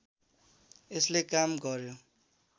यसले काम गर्‍यो